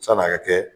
San'a ka kɛ